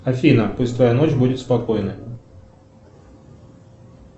афина пусть твоя ночь будет спокойной